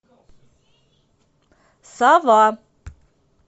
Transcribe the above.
сова